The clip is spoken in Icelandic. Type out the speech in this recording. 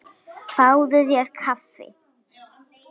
Fáðu þér kaffi.